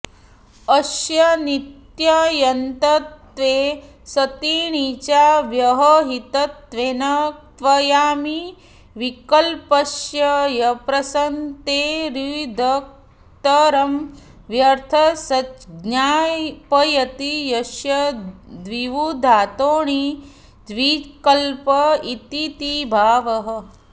अस्य नित्यण्यन्तत्वे सति णिचा व्यवहितत्वेन क्त्वयामिड्विकल्पस्य अप्रसक्तेरुदित्करमं व्यर्थं सज्ज्ञापयति अस्य दिवुधातोर्णिज्विकल्प इतीति भावः